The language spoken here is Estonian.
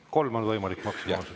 Kolm on võimalik maksimaalselt.